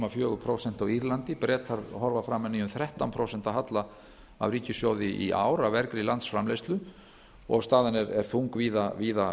fjögur prósent á írlandi bretar horfa framan í um þrettán prósent halla af ríkissjóði í ár af vergri landsframleiðslu og staðan er þung víða